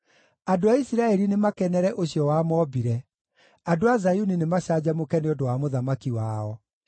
Andũ a Isiraeli nĩmakenere ũcio wamombire; andũ a Zayuni nĩmacanjamũke nĩ ũndũ wa Mũthamaki wao.